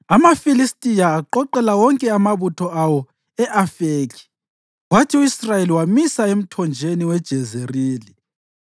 AmaFilistiya aqoqela wonke amabutho awo e-Afekhi, kwathi u-Israyeli wamisa emthonjeni weJezerili.